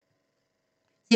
TV 2